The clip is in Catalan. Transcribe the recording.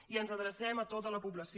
i ens adrecem a tota la població